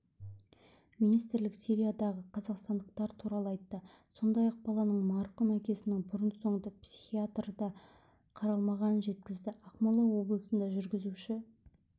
министрлік сириядағы қазақстандықтар туралы айтты сондай-ақ баланың марқұм әкесінің бұрын-соңды психиатрда қаралмағанын жеткізді ақмола облысында жүргізуші